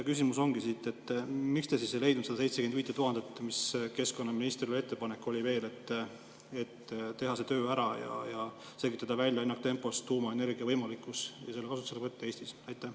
Küsimus ongi: miks te siis ei leidnud seda 75 000, mis ettepanek keskkonnaministril oli, et teha see töö ära ja selgitada ennaktempos välja tuumaenergia kasutuselevõtu võimalikkus Eestis?